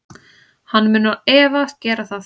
Hann mun án efa gera það.